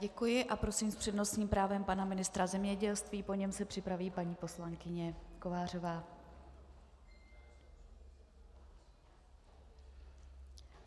Děkuji a prosím s přednostním právem pana ministra zemědělství, po něm se připraví paní poslankyně Kovářová.